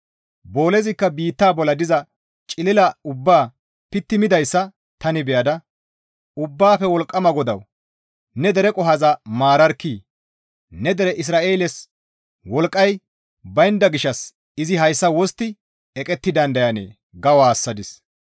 Boolezikka biitta bolla diza cilila ubbaa pitti midayssa tani beyada, «Ubbaafe Wolqqama GODAWU! Ne dere qohoza maararkkii! Ne dere Isra7eeles wolqqay baynda gishshas izi hayssa wostti eqetti dandayanee?» ga woossadis.